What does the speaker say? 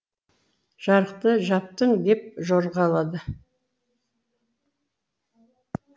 жарықты жаптың деп жорғалады